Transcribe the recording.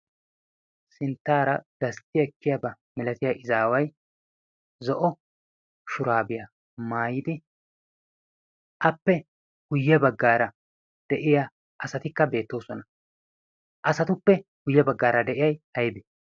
sinttaara gastti ekkiyaaba milatiyaa izzaaway zo'o shuraabiyaa maayidi appe guyye baggaara asati beettoosona. asatuppe guyye baggaara de'iyay aybee?